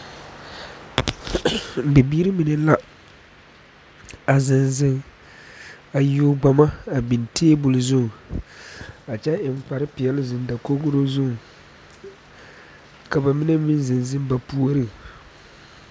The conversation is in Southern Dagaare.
Bibiiri mine la a zeŋ zeŋ a yuo Ghana a biŋ taabol zu a kyɛ eŋ kpar peɛle zeŋ dakogiro zu ka ba mime meŋ zeŋ zeŋ ba puoriŋ